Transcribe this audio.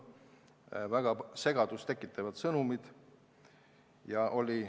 Edastati väga segadust tekitavaid sõnumeid.